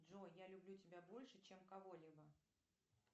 джой я люблю тебя больше чем кого либо